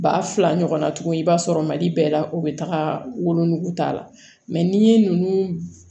Ba fila ɲɔgɔnna tuguni i b'a sɔrɔ mali bɛɛ la u bɛ taga wolonugu ta n'i ye ninnu